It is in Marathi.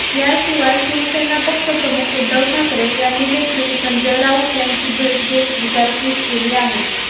याशिवाय शिवेसना पक्षप्रमुख उद्धव ठाकरे यांनीदेखील संजय राऊत यांची भेट घेत विचारपूस केली आहे